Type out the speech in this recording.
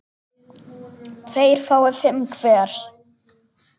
tveir fái fimm hver